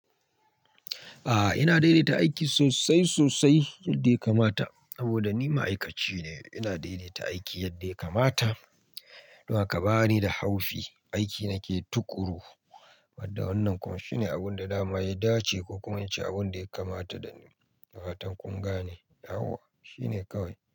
A'a, ina daidaita aiki sosai sosai yadda ya kamata. Saboda ni ma'aikaci ne, ina daidaita aiki yadda ya kamata. Don haka bani da haufi, aiki nake tuƙuru. Wadda wannan kuma shine abin da dama ya dace ko kuma wance abin da ya kamata da ni. Da fatan kun gane. Dawo, shine kawai.